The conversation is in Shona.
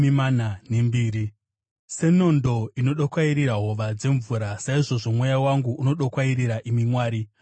Senondo inodokwairira hova dzemvura, saizvozvo mweya wangu unodokwairirai, imi Mwari.